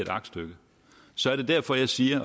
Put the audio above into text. aktstykke derfor siger